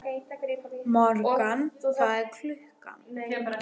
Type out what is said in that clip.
Morgan, hvað er klukkan?